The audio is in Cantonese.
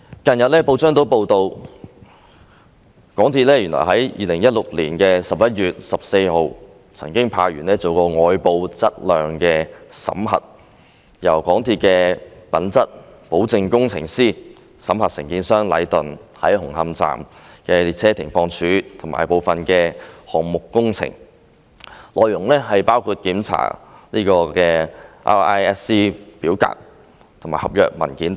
近日報章亦報道，港鐵公司原來在2016年11月14日曾經派員進行外部質量審核，由港鐵公司的品質保證工程師審核承建商禮頓建築有限公司在紅磡站的列車停放處及部分項目工程，內容包括檢查 RISC 表格及合約文件等。